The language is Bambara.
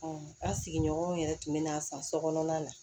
an sigiɲɔgɔnw yɛrɛ tun bɛ n'an san so kɔnɔna na